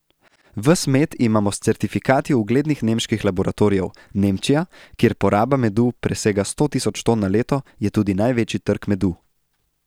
Ves med imamo s certifikati uglednih nemških laboratorijev, Nemčija, kjer poraba medu presega sto tisoč ton na leto, je tudi največji trg medu.